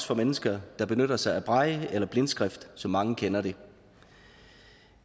for mennesker der benytter sig af braille eller blindskrift som mange kender det